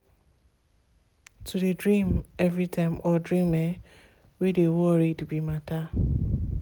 to de dream every time or dream um wey de worried be matter.